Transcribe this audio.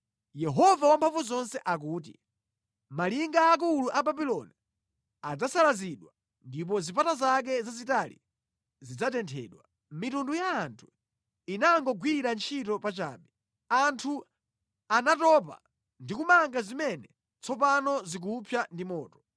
Yehova Wamphamvuzonse akuti, “Malinga aakulu a Babuloni adzasalazidwa ndipo zipata zake zazitali zidzatenthedwa; mitundu ya anthu inangogwira ntchito pachabe. Anthu anatopa ndi kumanga zimene tsopano zikupsa ndi moto.”